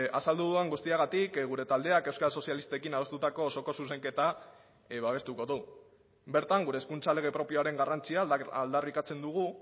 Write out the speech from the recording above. azaldu dudan guztiagatik gure taldeak euskal sozialistekin adostutako osoko zuzenketa babestuko du bertan gure hezkuntza lege propioaren garrantzia aldarrikatzen dugu